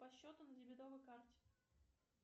по счету на дебетовой карте